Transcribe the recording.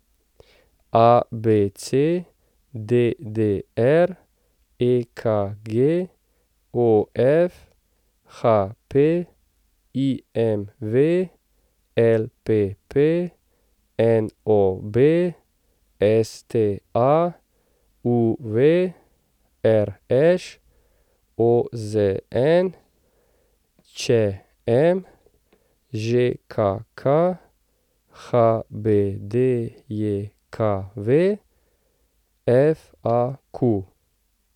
ABC, DDR, EKG, OF, HP, IMV, LPP, NOB, STA, UV, RŠ, OZN, ČM, ŽKK, HBDJKV, FAQ.